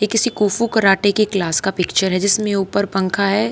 ये किसी kung fu karate की क्लास का पिक्चर है जिसमें ऊपर पंखा है।